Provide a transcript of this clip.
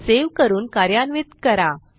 save करून कार्यान्वित करा